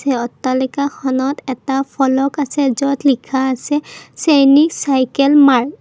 এই অট্টালিকাখনত এটা ফলক আছে য'ত লিখা আছে চেইনিক চাইকেল মাৰ্ত ।